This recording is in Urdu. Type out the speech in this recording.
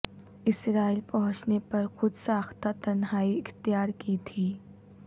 اسرائیل پہنچنے پر خود ساختہ تنہائی اختیار کی تھی